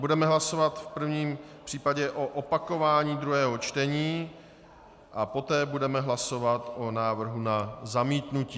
Budeme hlasovat v prvním případě o opakování druhého čtení a poté budeme hlasovat o návrhu na zamítnutí.